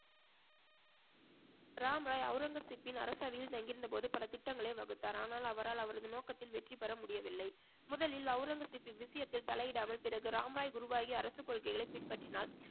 ராம்ராய் அவுரங்கசீப்பின் அரசவையில் தங்கியிருந்தபோது பல திட்டங்களை வகுத்தார் ஆனால் அவரால் அவரது நோக்கத்தில் வெற்றி பெற முடியவில்லை முதலில் அவுரங்கசீப்பின் விஷயத்தில் தலையிடாமல் பிறகு ராம்ராய் குருவாகி அரசு கொள்கைகளை பின்பற்றினால்